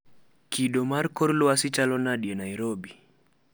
Kido mar kor lwasi chalo nade e Nairobi